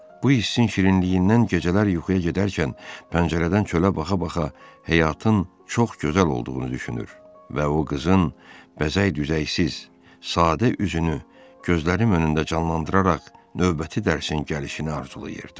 Bu hissin şirinliyindən gecələr yuxuya gedərkən pəncərədən çölə baqa-baqa həyatın çox gözəl olduğunu düşünür və o qızın bəzək-düzəysiz, sadə üzünü gözlərim önündə canlandıraraq növbəti dərsin gəlişini arzulayırdım.